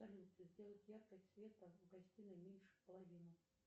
салют сделать яркость света в гостиной меньше половины